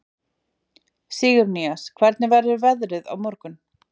Sigurnýas, hvernig verður veðrið á morgun?